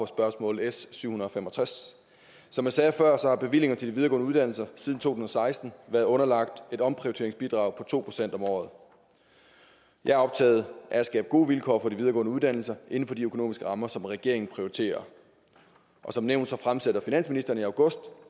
spørgsmål s syv hundrede og fem og tres som jeg sagde før har bevillingerne til de videregående uddannelser siden to og seksten været underlagt et omprioriteringsbidrag på to procent om året jeg er optaget af at skabe gode vilkår for de videregående uddannelser inden for de økonomiske rammer som regeringen prioriterer og som nævnt fremsætter finansministeren i august